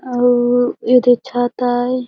अऊ एदे छत आए।